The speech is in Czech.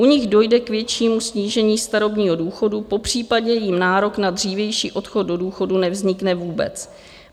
U nich dojde k většímu snížení starobního důchodu, popřípadě jim nárok na dřívější odchod do důchodu nevznikne vůbec.